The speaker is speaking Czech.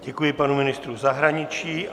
Děkuji panu ministrovi zahraničí.